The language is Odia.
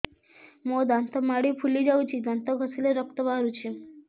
ମୋ ଦାନ୍ତ ମାଢି ଫୁଲି ଯାଉଛି ଦାନ୍ତ ଘଷିଲେ ରକ୍ତ ବାହାରୁଛି